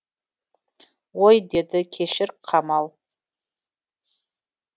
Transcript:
ой деді кешір қамал